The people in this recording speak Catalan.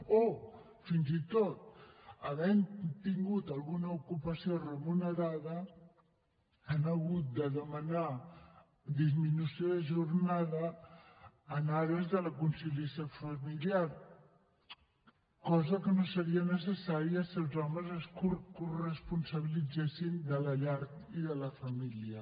o fins i tot havent tingut alguna ocupació remunerada han hagut de demanar disminució de jornada en ares de la conciliació familiar cosa que no seria necessària si els homes es coresponsabilitzessin de la llar i de la família